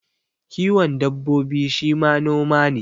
Kiwon dabbobi shi ma noma ne